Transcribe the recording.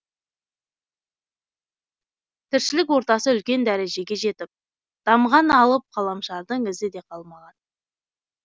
тіршілік ортасы үлкен дәрежеге жетіп дамыған алып ғаламшардың ізі де қалмаған